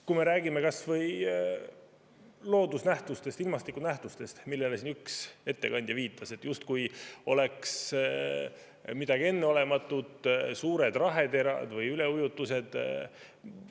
Kui me räägime kas või loodusnähtustest, ilmastikunähtustest, siis siin üks ettekandja viitas, justkui suured raheterad või üleujutused oleks midagi enneolematut.